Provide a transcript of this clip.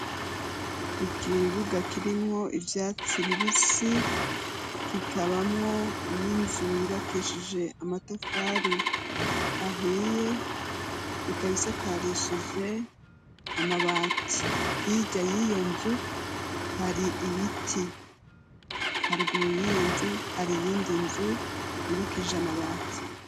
Ukibuga kirimwo ivyatsi bibisi, kikabamwo n'inzu yubakishije amatafari ahiye, ikaba isakarishije amabati, hirya y'iyo nzu hari ibiti, haruguru y'iyo nzu hari iyindi nzu yubakishije amabati.